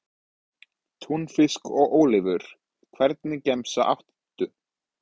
Túnfisk og ólívur Hvernig gemsa áttu?